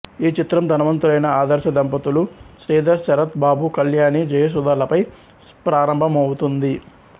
ఈ చిత్రం ధనవంతులైన ఆదర్శ దంపతులు శ్రీధర్ శరత్ బాబు కల్యాణి జయసుధ లపై ప్రారంభమవుతుంది